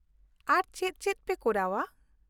ᱟᱨ ᱪᱮᱫ ᱪᱮᱫ ᱯᱮ ᱠᱚᱨᱟᱣᱼᱟ ?